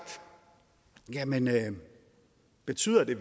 jamen betyder det